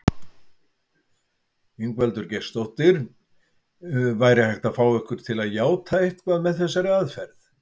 Ingveldur Geirsdóttir: Væri hægt að fá ykkur til játa eitthvað með þessari aðferð?